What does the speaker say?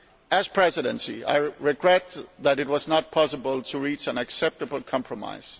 As President, I regret that it was not possible to reach an acceptable compromise.